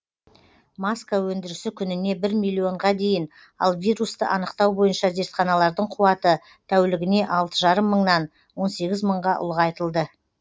маска өндірісі күніне бір миллионға дейін ал вирусты анықтау бойынша зертханалардың қуаты тәулігіне алты жарым мыңнан он сегіз мыңға ұлғайтылды